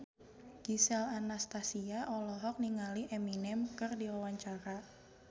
Gisel Anastasia olohok ningali Eminem keur diwawancara